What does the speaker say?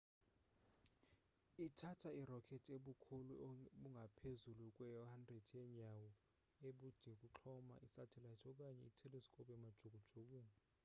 ithatha i-rocket ebukhulu obungapezulu kwe-100 yenyawo ubudeukuxhoma isatellite okanye i-telescope emajukujukwini